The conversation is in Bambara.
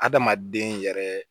Adamaden yɛrɛ